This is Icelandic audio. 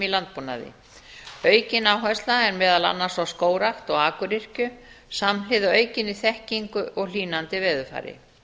landbúnaði aukin áhersla er meðal annars á skógrækt og akuryrkju samhliða aukinni þekkingu og hlýnandi veðurfari